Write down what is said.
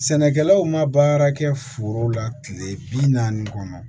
Sɛnɛkɛlaw ma baara kɛ forow la kile bi naani kɔnɔ